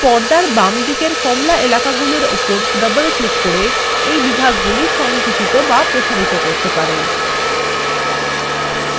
আপনি পর্দার বামদিকের কমলা এলাকাগুলোর ওপর double ক্লিক করে we বিভাগগুলি সঙ্কুচিত বা প্রসারিত করতে পারেন